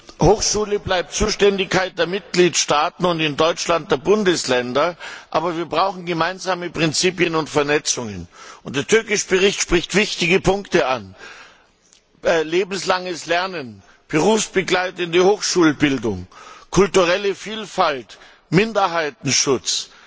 Das Hochschulwesen bleibt in der Zuständigkeit der Mitgliedstaaten und in Deutschland der Bundesländer, aber wir brauchen gemeinsame Prinzipien und Vernetzungen. Der Bericht Tőkés spricht wichtige Punkte an lebenslanges Lernen, berufsbegleitende Hochschulbildung, kulturelle Vielfalt, Minderheitenschutz,